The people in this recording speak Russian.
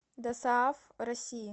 досааф россии